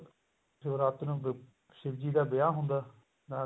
ਸ਼ਿਵਰਾਤਰੀ ਨੂੰ ਸ਼ਿਵਜੀ ਦਾ ਵਿਆਹ ਹੁੰਦਾ ਨਾਲੇ ਉਹ